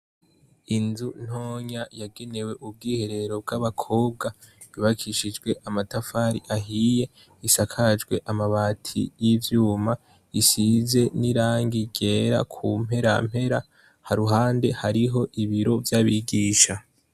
Inzu ntonya yagenewe ubwiherero bwa bakobwa yubakishijwe amatafari ahiye asakajwe amabati yivyuma isakajwe isize Irangi ryera kumperampera haruhande hari ibiro vyabisha.